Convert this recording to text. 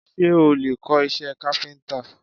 Ṣé o lè kọ́ iṣẹ́ káfíńtà?